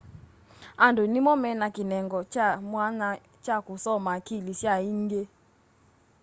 andu nĩmo mena kĩnengo kya mwanya kya kũsoma akili sya iingi